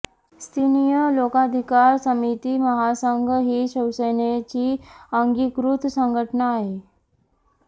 स्थानीय लोकाधिकार समिती महासंघ ही शिवसेनेची अंगीकृत संघटना आहे